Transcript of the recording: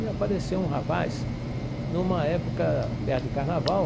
E apareceu um rapaz, numa época perto de carnaval,